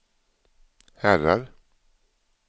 herrar